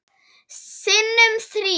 Sinnum þrír.